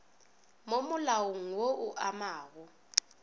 mo malaong wo o amago